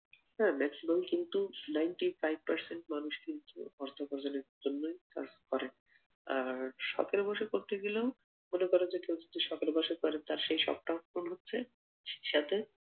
আহ Maximum কিন্তু Ninety five percent মানুষ কিন্তু অর্থ উপার্জনের জন্যই কাজ করে, আর শখের বশে করতে গেলেও মনে করে কেউ যদি শখের বশে করে তার সেই শখটাও পূরণ হচ্ছে সাথে